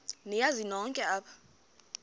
niyazi nonk apha